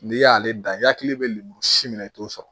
N'i y'ale dan i hakili bɛ lemuru si minɛ i t'o sɔrɔ